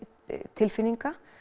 tilfinninga